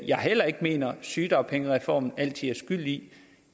jeg heller ikke mener at sygedagpengereformen altid er skyld i